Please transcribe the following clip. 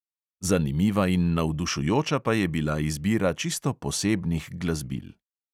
Zanimiva in navdušujoča pa je bila izbira čisto posebnih glasbil.